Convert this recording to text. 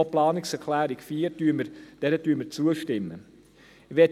Auch der Planungserklärungen 3 stimmen wir zu.